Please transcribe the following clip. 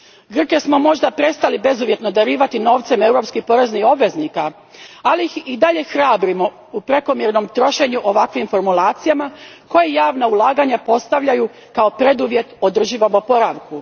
Grke smo možda prestali bezuvjetno darivati novcem europskih poreznih obveznika, ali ih i dalje hrabrimo u prekomjernom trošenju ovakvim formulacijama koje javna ulaganja postavljaju kao preduvjet održivom oporavku.